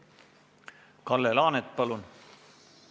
Kalle Laanet, palun!